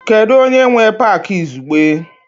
Kedu onye nwe Pááki izugbe?